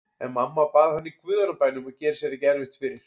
En mamma bað hann í guðanna bænum að gera sér ekki erfitt fyrir.